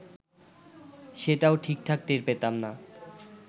সেটাও ঠিকঠাক টের পেতাম না